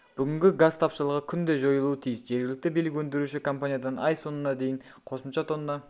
бүгінгі газ тапшылығы күнде жойылуы тиіс жергілікті билік өндіруші компаниядан ай соңына дейін қосымша тонна